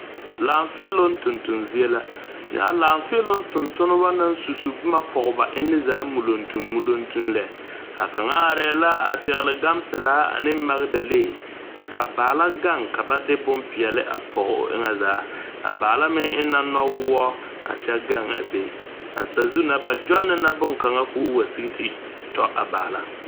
Laafeeloŋ toneton zie la, nyɛ a laafeeloŋ tontonba naŋ susu boma pɔge ba enne zaa muleŋmuleŋ lɛ a kaŋa are la a pɛgele. Gan pɛlaa ane magedale kyɛ ka kyɛ ka baala gaŋ ka ba de boma pɔge o eŋɛ zaa a baala me eŋe la nɔwɔɔ a kyɛ a be a sazu na ba tonne la bonkaŋa kɔɔ wa sigi te tɔ a baala.